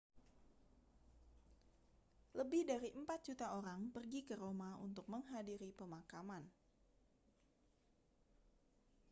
lebih dari empat juta orang pergi ke roma untuk menghadiri pemakaman